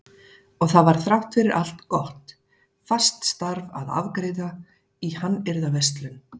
Og það var þrátt fyrir allt gott, fast starf að afgreiða í hannyrðaverslun.